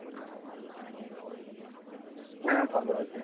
হ্যাঁ ভালো আছে।